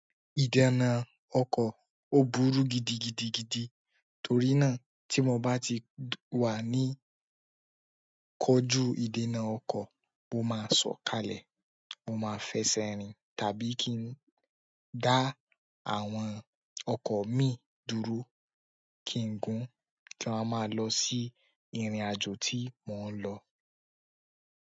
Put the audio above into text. Ìdènà ọkọ̀ ó burú gidigidi gan torina tí mo bá ti kojú ìdènà ọkọ̀ mo má sọ kalẹ̀. Mo máa fẹsẹ̀ rìn tàbí kí n dá àwọn ọkọ̀ mi dúró, kí n gún, kí a máa lọ sí ìrìnàjò tí mò ń lọ.